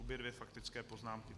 Obě dvě faktické poznámky.